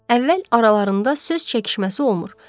Əvvəl aralarında söz çəkişməsi olmur.